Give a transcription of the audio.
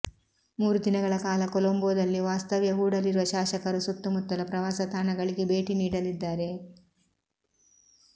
ಮೂರು ದಿನಗಳ ಕಾಲ ಕೊಲಂಬೋದಲ್ಲಿ ವಾಸ್ತವ್ಯ ಹೂಡಲಿರುವ ಶಾಸಕರು ಸುತ್ತಮುತ್ತಲ ಪ್ರವಾಸ ತಾಣಗಳಿಗೆ ಭೇಟಿ ನೀಡಲಿದ್ದಾರೆ